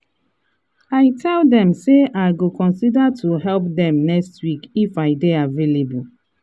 i tell dem say i go consider to help dem next week if i dey avaialble.